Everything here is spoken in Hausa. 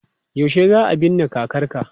Yaushe za a binne kakarka?